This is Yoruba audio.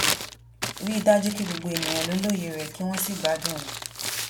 rí i dájú pé gbogbo ènìyàn lè lóye rẹ kí wọn sì gbádùn rẹ